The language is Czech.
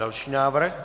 Další návrh.